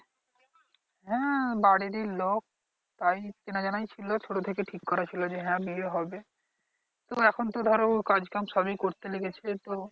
হ্যা বারিরই লোক তাই চেনাজানাই ছিলো ছোট থেকে ঠিক করা ছিলো হ্যা বিয়ে হবে তো এখন তো ধরো কাজ কাম সবই করতে লেগেছে তো